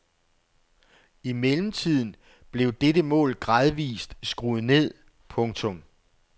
I mellemtiden blev dette mål gradvist skruet ned. punktum